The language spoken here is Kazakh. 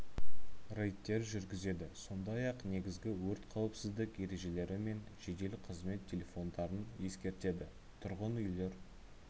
рейдтер жүргізеді сондай ақ негізгі өрт қауіпсіздік ережелері мен жедел қызмет телефондарын ескертеді тұрғын үйлер